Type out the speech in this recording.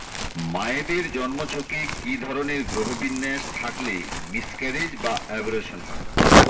মায়েদের জন্মছকে কী ধরনের গ্রহবিন্যাস থাকলে মিসক্যারেজ বা অ্যাবরশন হয়